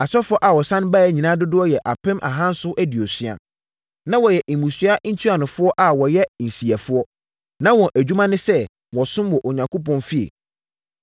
Asɔfoɔ a wɔsane baeɛ nyinaa dodoɔ yɛ apem ahanson aduosia. Na wɔyɛ mmusua ntuanofoɔ a wɔyɛ nsiyɛfoɔ. Na wɔn adwuma ne sɛ, wɔsom wɔ Onyankopɔn fie.